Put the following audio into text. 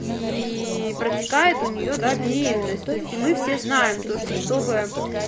и протекает у неё да беременность то есть и мы все знаем то что чтобы